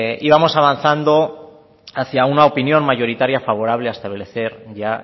íbamos avanzado hacia una opinión mayoritaria favorable a establecer ya